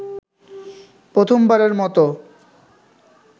প্রথমবারের মত